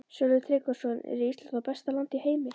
Sölvi Tryggvason: Er Ísland þá besta land í heimi?